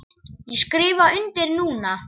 Ég skrifa undir núna.